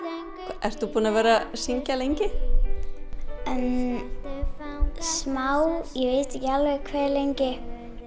ert þú búin að vera að syngja lengi já smá ég veit ekki hve lengi